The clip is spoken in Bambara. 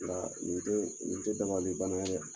Nka nin balimakɛ ma